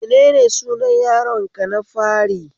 Menene sunan yaron ka na fari?